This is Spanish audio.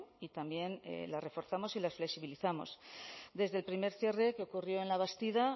y también las reforzamos y las flexibilizamos desde el primer cierre que ocurrió en labastida